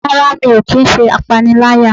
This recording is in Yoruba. rara, mí o kí n se apáníláyá.